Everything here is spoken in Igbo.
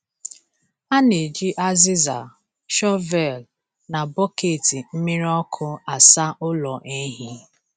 A na-eji azịza, shọvel, na bọket mmiri ọkụ asa ụlọ ehi.